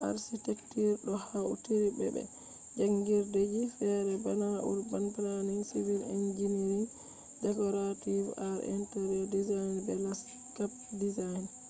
architecture ɗo hautri be be jangirdeji fere bana urban planning civil engineering decorative arts interior design be landscape design